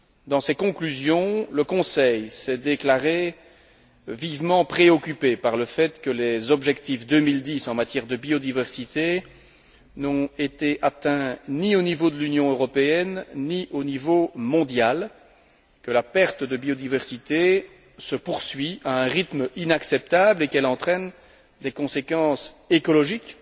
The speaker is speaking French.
Dans ses conclusions, le Conseil s'est déclaré vivement préoccupé par le fait que les objectifs 2010 en matière de biodiversité n'ont été atteints ni au niveau de l'Union européenne ni au niveau mondial, que la perte de biodiversité se poursuit à un rythme inacceptable et qu'elle entraîne des conséquences écologiques,